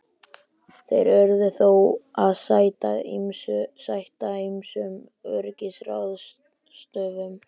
Þeir urðu þó að sæta ýmsum öryggisráðstöfunum.